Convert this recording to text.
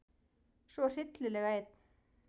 Svo hryllilega einn.